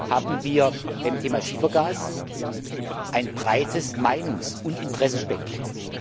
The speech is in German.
hatten wir beim Thema Schiefergas ein breites Meinungs und Interessenspektrum.